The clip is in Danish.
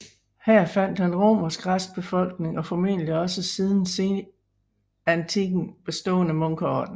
Her fandt han romersk restbefolkning og formentlig også en siden senantikken bestående munkeorden